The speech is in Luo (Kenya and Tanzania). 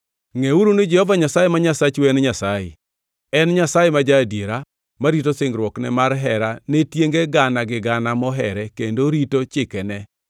Ngʼeuru ni Jehova Nyasaye ma Nyasachu en Nyasaye. En Nyasaye ma ja-adiera; marito singruokne mar hera ne tienge gana gi gana mohere kendo rito chikene.